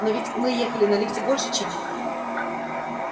но ведь мы ехали на лифте больше чем